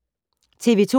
TV 2